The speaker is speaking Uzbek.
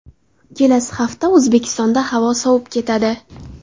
Kelasi hafta O‘zbekistonda havo sovib ketadi .